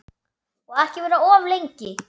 Og ekki vera of lengi.